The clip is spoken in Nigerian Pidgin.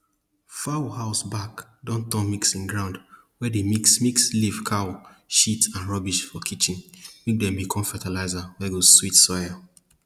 fowl house back don turn mixing ground we dey mix mix leaf cow shit and rubbish for kitchen make dem become fertilizer wey go sweet soil